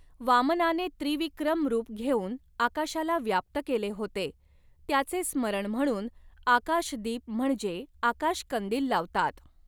वामनाने त्रिविक्रम रूप घेऊन आकाशाला व्याप्त केले होते, त्याचे स्मरण म्हणून आकाशदीप म्हणजे आकाशकंदील लावतात.